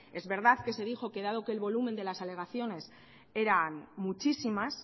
es verdad que se dijo que dado que el volumen de las alegaciones eran muchísimas